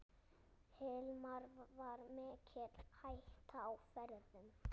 Hilmar: Var mikil hætta á ferðum?